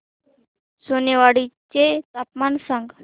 सोनेवाडी चे तापमान सांग